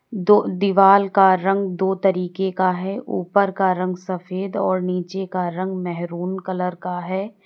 दो दीवाल का रंग दो तरीके का है ऊपर का रंग सफेद और नीचे का रंग मेहरून कलर का है।